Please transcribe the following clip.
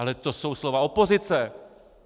Ale to jsou slova opozice.